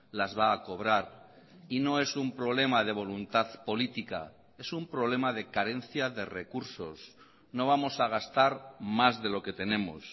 las va a cobrar y no es un problema de voluntad política es un problema de carencia de recursos no vamos a gastar más de lo que tenemos